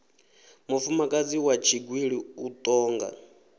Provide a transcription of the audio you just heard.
mufumakadzi wa tshigwili u tonga